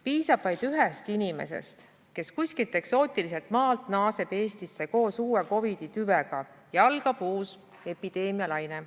Piisab vaid ühest inimesest, kes kuskilt eksootiliselt maalt naaseb Eestisse koos uue COVID-i tüvega, ja algab uus epideemialaine.